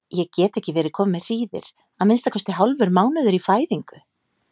Ég get ekki verið komin með hríðir, að minnsta kosti hálfur mánuður í fæðingu?